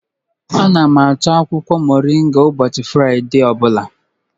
Ana m ahọ akwụkwọ moringa ụbọchị Fraịde ọ bụla..